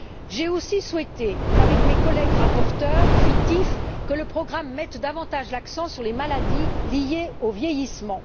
J'ai aussi souhaité, avec mes collègues rapporteurs fictifs, que le programme mette davantage l'accent sur les maladies liées au vieillissement.